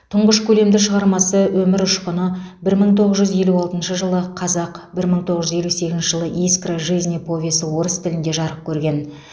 тұңғыш көлемді шығармасы өмір ұшқыны бір мың тоғыз жүз елу алтыншы жылы қазақ бір мың тоғыз жүз елу сегізінші жылы искра жизни повесі орыс тілінде жарық көрген